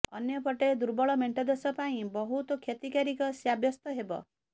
ଅନ୍ୟ ପଟେ ଦୁର୍ବଳ ମେଣ୍ଟ ଦେଶ ପାଇଁ ବହୁତ କ୍ଷତିକାରକ ସାବ୍ୟସ୍ତ ହେବ